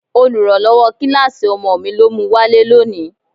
Oluranlowo kíláàsì ọmọ mi ló mu wálé lónìí.